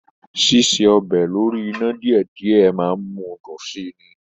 Síse ọbẹ̀ lórí iná díẹ̀díẹ̀ máà ń mú dùn si ni.